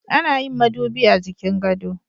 Ana yin madubi a jikin gado.